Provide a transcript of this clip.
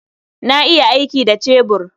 Na iya aiki da cebur.